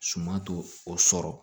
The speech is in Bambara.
Suma to o sɔrɔ